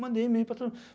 Mandei e-mail para todo